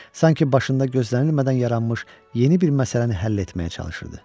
Sanki başında gözlənilmədən yaranmış yeni bir məsələni həll etməyə çalışırdı.